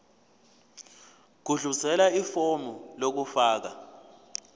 gudluzela ifomu lokufaka